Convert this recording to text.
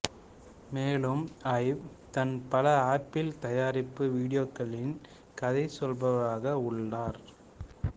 மேலும் ஐவ் தான் பல ஆப்பிள் தயாரிப்பு வீடியோக்களில் கதை சொல்பவராக உள்ளார்